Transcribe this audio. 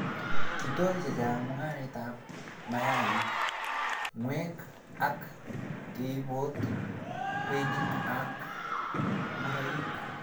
Kitoi chechang mungaretab mayaik, ngwek ak keibot kweinik ak ngoroik